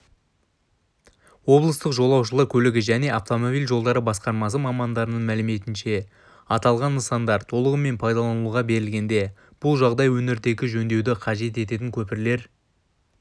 облыстық жолаушылар көлігі және автомобиль жолдары басқармасы мамандарының мәліметінше аталған нысандар толығымен пайдалануға берілгенде бұл жағдай өңірдегі жөндеуді қажет ететін көпірлер